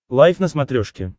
лайф на смотрешке